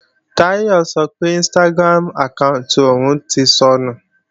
Táyọ̀ sọ pé Instagram àkáànti òun ti sọnù